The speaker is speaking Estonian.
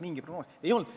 Ei olnud!